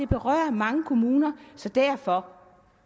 berører mange kommuner så derfor